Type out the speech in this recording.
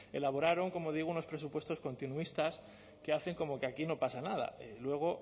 elaboraron como digo unos presupuestos continuistas que hacen como que aquí no pasa nada luego